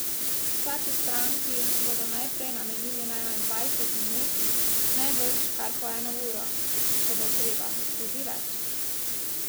Vsaki stranki bodo najprej namenili najmanj dvajset minut, najbrž kar po eno uro, če bo treba, tudi več.